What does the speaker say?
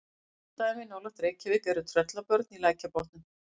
Kunn dæmi nálægt Reykjavík eru Tröllabörn í Lækjarbotnum.